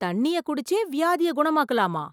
தண்ணீயை குடிச்சே வியாதியே குணமாக்கலாமா!